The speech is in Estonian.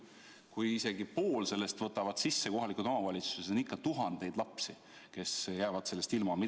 Kui isegi poole sellest võtavad üle kohalikud omavalitsused, on ikka tuhandeid lapsi, kes jäävad sellest tegevusest ilma.